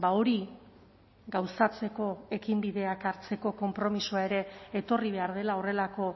hori gauzatzeko ekinbideak hartzeko konpromisoa ere etorri behar dela horrelako